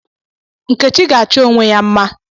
Nkechi ga-achọ onwe ya mma